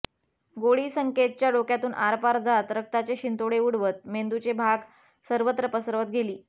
गोळी संकेतच्या डोक्यातून आरपार जात रक्ताचे शिंतोडे उडवत मेंदूचे भाग सर्वत्र पसरवत गेली